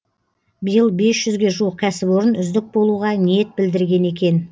биыл бес жүзге жуық кәсіпорын үздік болуға ниет білдірген екен